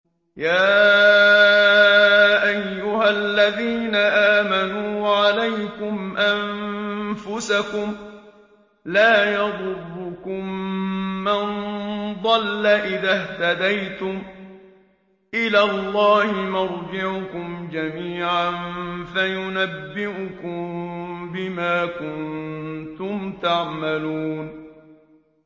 يَا أَيُّهَا الَّذِينَ آمَنُوا عَلَيْكُمْ أَنفُسَكُمْ ۖ لَا يَضُرُّكُم مَّن ضَلَّ إِذَا اهْتَدَيْتُمْ ۚ إِلَى اللَّهِ مَرْجِعُكُمْ جَمِيعًا فَيُنَبِّئُكُم بِمَا كُنتُمْ تَعْمَلُونَ